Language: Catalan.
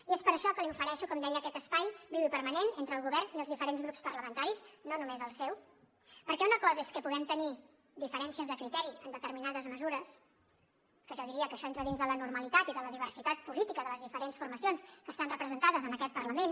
i és per això que li ofereixo com deia aquest espai viu i permanent entre el govern i els diferents grups parlamentaris no només el seu perquè una cosa és que puguem tenir diferències de criteri en determinades mesures que jo diria que això entra dins de la normalitat i de la diversitat política de les diferents formacions que estan representades en aquest parlament